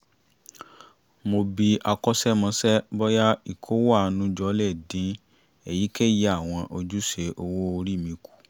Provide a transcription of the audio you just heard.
mo bi akọ́ṣẹ́mọṣẹ́ bóyá ìkówó àánú jọ le dín èyikéyìí àwọn ojúṣe owó orí mi kù